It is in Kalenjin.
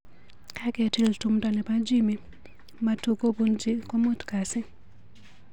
Kaketiil tumndo nebo Jimmie matukobunchi komut kasit.